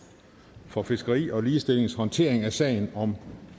for fiskeri og ligestillings håndtering af sagen om